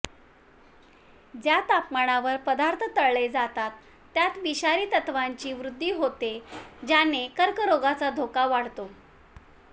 ज्या तापमानावर पदार्थ तळले जातात त्यात विषारी तत्त्वांची वृद्धी होते ज्याने कर्करोगाचा धोका वाढतो